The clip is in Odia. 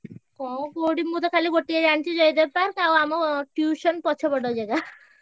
କଣ କୋଉଠି ମୁଁ ତ ଖାଲି ଗୋଟିଏ ଜାଣିଚି ଜୟଦେବ park ଆଉ ଆମ tuition ପଛ ପଟ ଜାଗା।